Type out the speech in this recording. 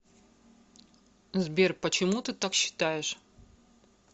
сбер почему ты так считаешь